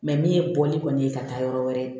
min ye bɔli kɔni ye ka taa yɔrɔ wɛrɛ